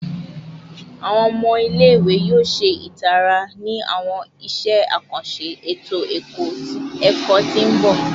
Awọn ọmọ ile-iwe yoo ṣe itara ni awọn iṣẹ akanṣe eto-ẹkọ ti n bọ